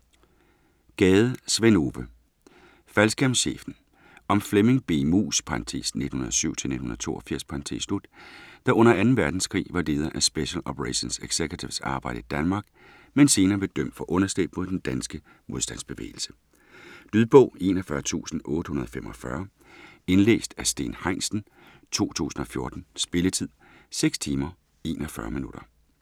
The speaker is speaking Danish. Gade, Sven Ove: Faldskærmschefen Om Flemming B. Muus (1907-1982) der under 2. verdenskrig var leder af Special Operations Executive's arbejde i Danmark, men senere blev dømt for underslæb mod den danske modstandsbevægelse. Lydbog 41845 Indlæst af Steen Heinsen, 2014. Spilletid: 6 timer, 41 minutter.